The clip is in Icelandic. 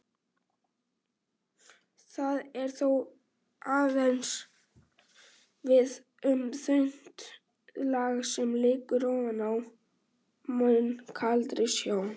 Það á þó aðeins við um þunnt lag sem liggur ofan á mun kaldari sjó.